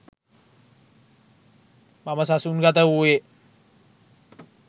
මම සසුන් ගත වූයේ